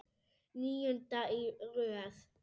Níunda í röð!